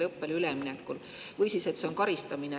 Või siis see, et see on karistamine.